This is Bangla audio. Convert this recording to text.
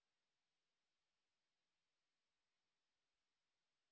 spoken tutorial talk to a teacher প্রকল্পের অংশবিশেষ